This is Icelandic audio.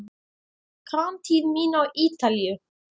Framtíð mín á Ítalíu?